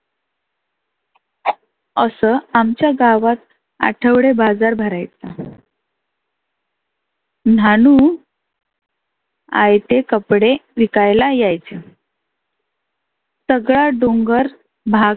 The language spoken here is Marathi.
आसं आमच्या गावात आठवडे बाजार भरायचा. न्हानू आयते कपडे विकायला यायचं सगळा डोंगर भाग